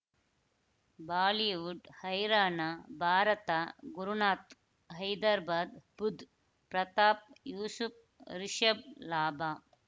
Bollywood ಹೈರಾಣ ಭಾರತ ಗುರುನಾಥ್ ಹೈದರಾಬಾದ್ ಬುಧ್ ಪ್ರತಾಪ್ ಯೂಸುಫ್ ರಿಷಬ್ ಲಾಭ